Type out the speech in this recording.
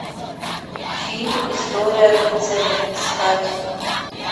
фильм история рыцаря искать